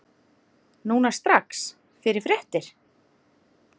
Núna strax- fyrir réttir.